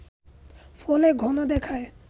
ফলে ঘন দেখায়